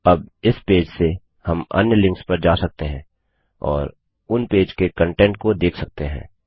अब इस पेज से हम अन्य लिंक्स पर जा सकते हैं और उन पेज के कंटेंट को देख सकते हैं